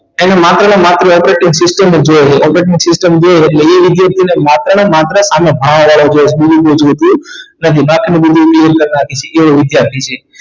એને માત્ર ને માત્ર operating system જોઈએ છે operating system જોઈએ છે ઍટલે એ વિદ્યાર્થી ને માત્ર ને માત્ર આને ભાવા વારો જોઈએ બીજું કંઈ જોતુ નથી બાકીનું બધું એ શીખેલો વિદ્યાર્થી છે